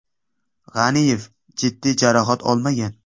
G‘aniyev jiddiy jarohat olmagan.